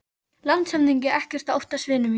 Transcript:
LANDSHÖFÐINGI: Ekkert að óttast, vinir mínir.